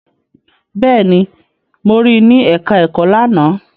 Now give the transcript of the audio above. Bẹ́ẹ̀ni, mo rí ní ẹ̀ká ẹ̀kọ́ lánàá